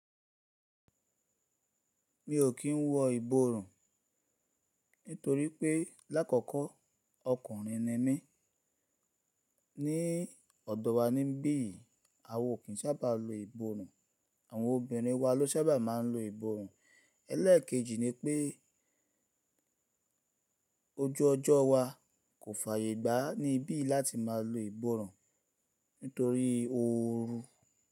Mi ò kín wọ ìborùn nitorí pé lákọ̀ọ̀kọ ọkùnrin ni mí. Ni ọ̀dọ̀ wa níbí yìí, a wa ò kín sábà lo ìborùn, àwọn obìnrin wa ló sábà máa n lo ìborùn. Ẹlẹ́ẹ̀kejì ni pé ojú ọjọ́ wa kò fàyè gbá ní ibí láti máa lo ìborùn nítorí ooru.